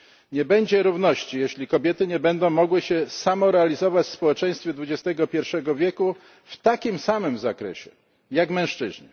Nie będzie równości, jeśli kobiety nie będą mogły się samorealizować w społeczeństwie dwudziestego pierwszego wieku w takim samym zakresie, jak mężczyźni.